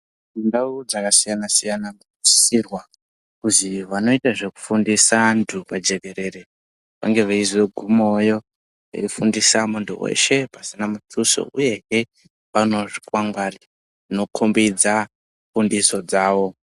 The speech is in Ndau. Ndau dzakasiyana siyana dzimosisirwa kuzi vanoita zvekufundisa vantu pajekerere vange veizogumawoyo veifundisa muntu weshe pasina mutuso uyehe panewo zvikwangwari zvinokombidza fundiso dzawo.